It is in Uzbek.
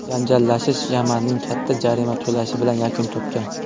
Janjallashish Yamanning katta jarima to‘lashi bilan yakun topgan.